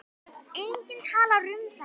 Enginn talar um það.